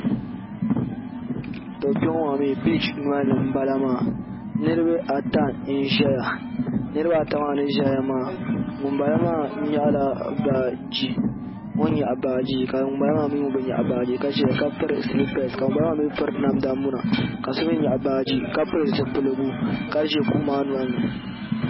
Tɔ kpe ŋɔ maa mi biiche noli ni m bala niribaata n ʒeya niribaata maa ni ʒeya maa ŋun bala maa nyahila baagi ka ŋun bala maa mi bi nyahi baagi ka ʒe ka piri silipes ka ŋun bala maa mi piri namda muna ka so mi nyahi baagi ka pili zipiligu ka ʒe kuɣu maa noli ni.